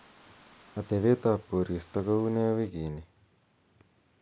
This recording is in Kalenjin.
atebtab koristo ko kounee wiginii